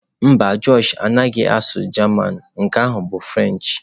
Mba, Josh anaghị asụ German, nke ahụ bụ French.